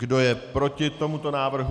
Kdo je proti tomuto návrhu?